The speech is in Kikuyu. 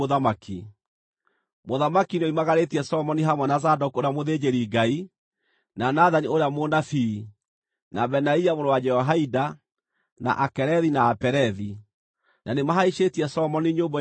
Mũthamaki nĩoimagarĩtie Solomoni hamwe na Zadoku ũrĩa mũthĩnjĩri-Ngai, na Nathani ũrĩa mũnabii, na Benaia mũrũ wa Jehoiada, na Akerethi na Apelethi, na nĩmahaicĩtie Solomoni nyũmbũ ya mũthamaki,